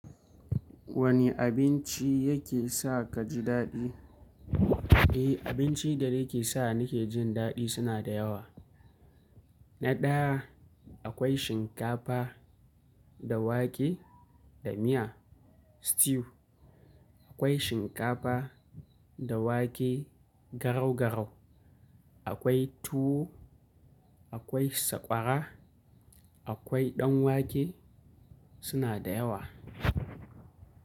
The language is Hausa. Wane abinci yake sa kaji daɗi? Eh, abinci da yake sa nike jin daɗi suna da yawa. Na ɗaya akwai shinkafa da wake da miya stew, akwai shinkafa da wake garau-garau, akwai tuwo, akwai sakwara, akwai ɗan wake suna da yawa.